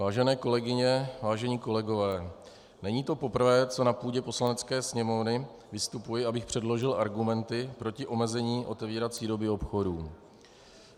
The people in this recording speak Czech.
Vážené kolegyně, vážení kolegové, není to poprvé, co na půdě Poslanecké sněmovny vystupuji, abych předložil argumenty proti omezení otevírací doby obchodů.